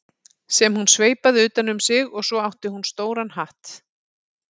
sem hún sveipaði utan um sig og svo átti hún stóran hatt.